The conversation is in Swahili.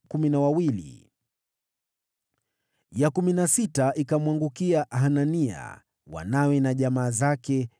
Ya kumi na sita ikamwangukia Hanania, wanawe na jamaa zake, 12